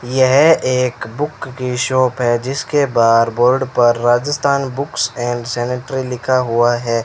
यह एक बुक की शॉप है जिसके बाहर बोर्ड पर राजस्थान बुक्स एंड सेनेटरी लिखा हुआ है।